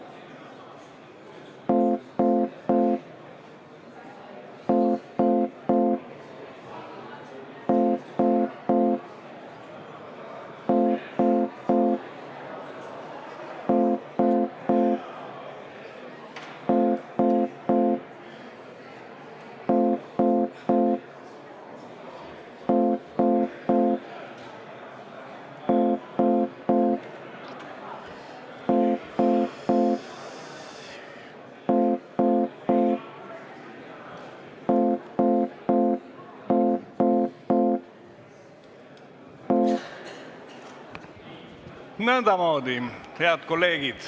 Head kolleegid!